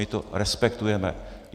My to respektujeme.